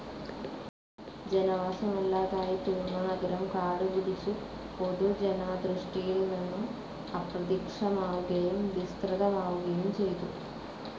ജനവാസമില്ലാതായിത്തീർന്ന നഗരം കാടുപിടിച്ചു പൊതുജനാധൃഷ്ടിയിൽനിന്നു അപ്രത്യക്ഷമാകുകയും വിസ്തൃതമാകുകയും ചെയ്തു.